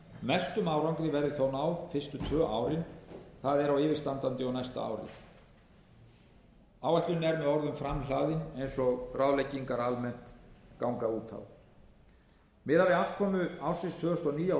mestum árangri verði þó náð fyrstu tvö árin það er á yfirstandandi og næsta ári áætlunin er með öðrum orðum framhlaðin eins og ráðleggingar almennt ganga út á miðað við afkomu ársins tvö þúsund og níu á